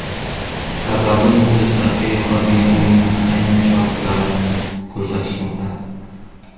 Sababi muxlislarga yoqadigan o‘yinlarni aynan shogirdlarim ko‘rsatishmoqda.